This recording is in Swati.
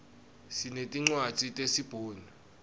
sinetincwadzi tesi bhunu